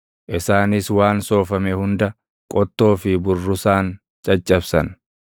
Isaanis waan soofame hunda, qottoo fi burrusaan caccabsan.